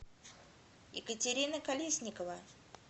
екатерина колесникова